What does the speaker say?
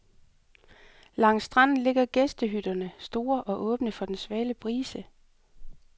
Langs stranden ligger gæstehytterne, store og åbne for den svale brise.